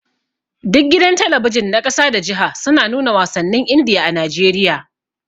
Duka gidan talabijin na ƙasa da jiha suna nuna wasannin Indiya a Najeriya.